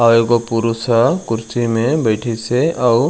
अऊ एगो पुरुष ह कुर्सी मे बैथिस हे अऊ--